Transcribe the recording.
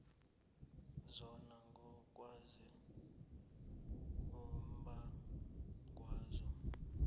zona ngokwazo umbangwazo